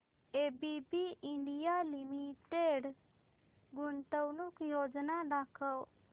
ABB India limited गुंतवणूक योजना दाखव